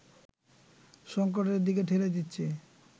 সংকটের দিকে ঠেলে দিচ্ছে